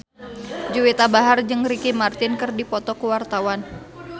Juwita Bahar jeung Ricky Martin keur dipoto ku wartawan